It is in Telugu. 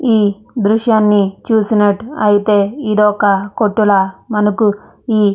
ఈ దృశ్యాన్ని చూసినట్టు అయితే మనకి ఇక్కడ ఒక కొట్టు ల మనకి ఈ --